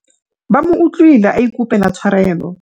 ba mo utlwile a ikopela tshwarelo